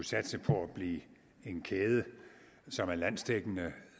satse på at blive en kæde som er landsdækkende og